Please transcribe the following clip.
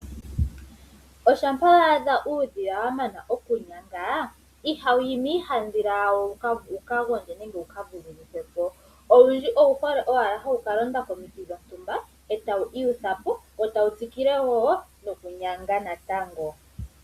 Shampa wa adha uudhila wa mana okunyanga ihawu yi miihandhila yawo wu ka gondje nenge wu ka vululukwe po. Owundji owu hole owala oku ka londa komiti dhontumba wo tawu iyutha po wo tawu tsikile wo nokunyanga natango.